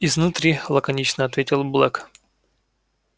изнутри лаконично ответил блэк